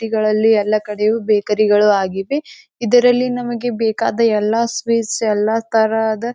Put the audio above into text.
City ಗಳಲ್ಲಿ ಎಲ್ಲ ಕಡೆಯೂ ಬೇಕರಿ ಗಳು ಆಗಿವೆ. ಇದರಲ್ಲಿ ನಮಗೆ ಬೇಕಾದ ಎಲ್ಲ ಸ್ವೀಟ್ಸ್ ಎಲ್ಲ ತರದ--